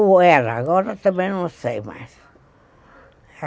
Ou era, agora também não sei mais.